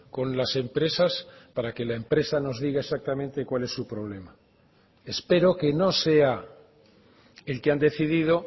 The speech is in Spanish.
con las empresas para que la empresa nos diga exactamente cuál es su problema espero que no sea el que han decidido